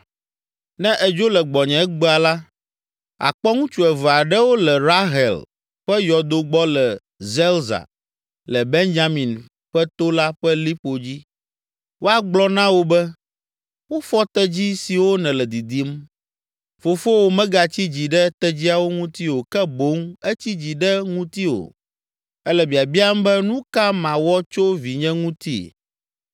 Ne èdzo le gbɔnye egbea la, àkpɔ ŋutsu eve aɖewo le Rahel ƒe yɔdo gbɔ le Zelza le Benyamin ƒe to la ƒe liƒo dzi. Woagblɔ na wò be, ‘Wofɔ tedzi siwo nèle didim. Fofowò megatsi dzi ɖe tedziawo ŋuti o ke boŋ etsi dzi ɖe ŋutiwò. Ele biabiam be, “Nu ka mawɔ tso vinye ŋuti?” ’